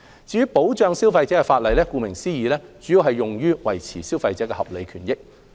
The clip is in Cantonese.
至於保障消費者的法例，顧名思義，其主要目的是維護消費者的合理權益。